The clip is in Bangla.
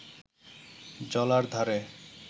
জলার ধারে